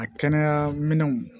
A kɛnɛya minɛnw